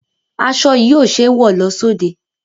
Aṣọ yìí ò ṣẹ́ wọ lọ sóde.